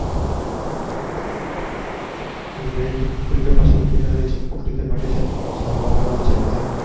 India ની team cricket માં સૌથી સારી છે cricket માટે છે. જે રમવા માંડવે છે.